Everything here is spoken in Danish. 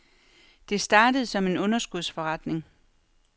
Det startede som en underskudsforretning.